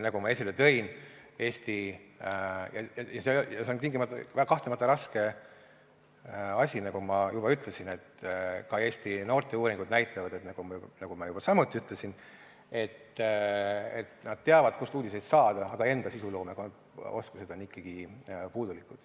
Nagu ma esile tõin – ja see on kahtlemata raske asi, nagu ma juba ütlesin –, ka Eesti noorte seas tehtud uuringud näitavad, nagu ma juba samuti ütlesin, et nad teavad, kust uudiseid saada, aga nende enda sisuloomeoskus on ikkagi puudulik.